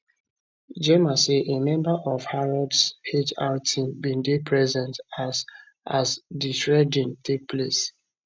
gemma say a member of harrods hr team bin dey present as as di shredding take place